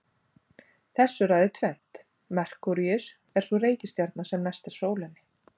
Þessu ræður tvennt: Merkúríus er sú reikistjarna sem næst er sólinni.